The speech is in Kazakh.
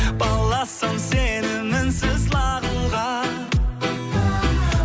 баласам сені мінсіз лағылға